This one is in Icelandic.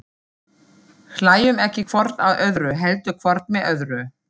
Hlæjum ekki hvort að öðru, heldur hvort með öðru.